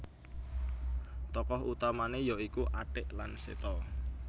Tokoh utamane ya iku Atik lan Seto